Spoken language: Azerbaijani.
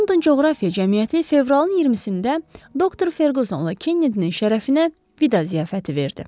London Coğrafiya Cəmiyyəti fevralın 20-də doktor Ferqüssonla Kennedinin şərəfinə vida ziyafəti verdi.